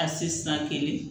A si san kelen